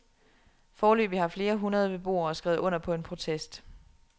Foreløbig har flere hundrede beboere skrevet under på en protest.